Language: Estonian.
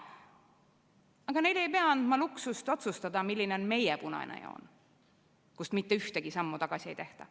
Aga neile ei pea andma luksust otsustada, milline on meie punane joon, kust mitte ühtegi sammu tagasi ei tehta.